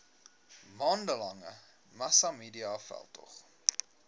maande lange massamediaveldtog